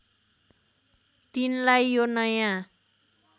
तिनलाई यो नयाँ